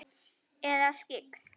Eða skyggn?